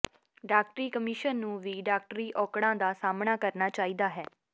ਡਾਕਟਰੀ ਕਮਿਸ਼ਨ ਨੂੰ ਵੀ ਡਾਕਟਰੀ ਔਕੜਾਂ ਦਾ ਸਾਹਮਣਾ ਕਰਨਾ ਚਾਹੀਦਾ ਹੈ